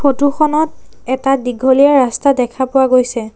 ফটোখনত এটা দীঘলীয়া ৰাস্তা দেখা পোৱা গৈছে।